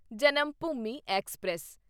Janmabhoomi express